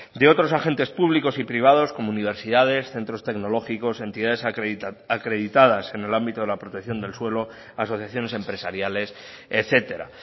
de otros agentes públicos y privados como universidades centros tecnológicos entidades acreditadas en el ámbito de la protección del suelo asociaciones empresariales etcétera